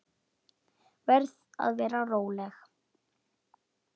Verð að vera róleg.